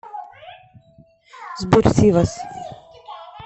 сбер сивас